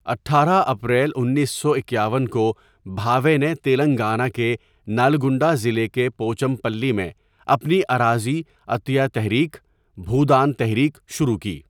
اٹھارہ اپریل انیس سو اکیاون کو، بھاوے نے تلنگانہ کےنلگنڈہ ضلع کے پوچمپلی میں اپنی اراضی عطیہ تحریک، بھودان تحریک شروع کی۔